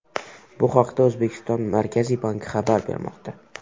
Bu haqda O‘zbekiston Markaziy banki xabar bermoqda .